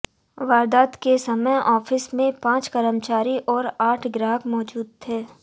वारदात के समय ऑफिस में पांच कर्मचारी और आठ ग्राहक मौजूद थे